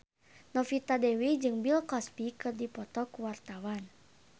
Novita Dewi jeung Bill Cosby keur dipoto ku wartawan